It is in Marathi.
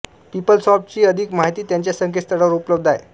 पिपलसॉफ्ट ची अधिक माहिती त्यांच्या संकेतस्थळावर उपलब्ध आहे